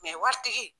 waritigi